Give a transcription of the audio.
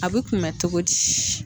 A bɛ kunmɛ cogo di?